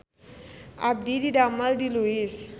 Abdi didamel di Lois